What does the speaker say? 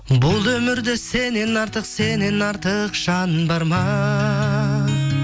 бұл өмірде сеннен артық сеннен артық жан бар ма